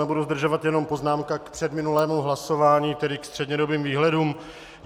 Nebudu zdržovat, jenom poznámka k předminulému hlasování, tedy ke střednědobým výhledům.